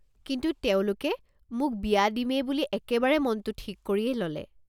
কিন্তু তেওঁলোকে মোক বিয়া দিমেই বুলি একেবাৰে মনটো ঠিক কৰিয়েই ল'লে।